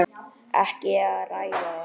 Ekki að ræða það.